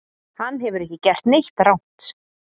Hann hefur ekki gert neitt rangt